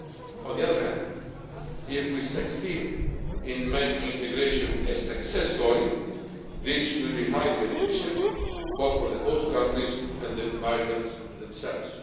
On the other hand, if we succeed in making integration a success story, this will be highly beneficial, both for the host countries and for the migrants themselves.